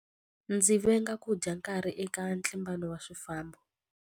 Ndzi venga ku dya nkarhi eka ntlimbano wa swifambo.